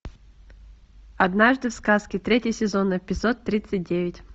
однажды в сказке третий сезон эпизод тридцать девять